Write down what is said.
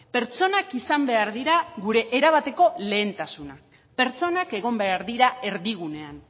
pertsonak izan behar dira gure erabateko lehentasuna pertsonak egon behar dira erdigunean